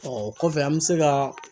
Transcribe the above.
Ɔ o kɔfɛ an bɛ se ka